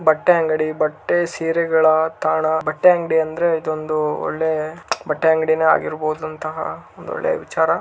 ಬಟ್ಟೆ ಅಂಗಡಿ ಬಟ್ಟೆ ಸೀರೆಗಳ ತಾಣ ಬಟ್ಟೆ ಅಂಗಡಿ ಅಂದರೆ ಇದೊಂದು ಹೊಳ್ಳೆ ಬಟ್ಟೆ ಅಂಗಡಿ ಹಾಗಿರುಬೋದಂತಹ ಒಂದು ಒಳ್ಳೆ ವಿಚಾರ.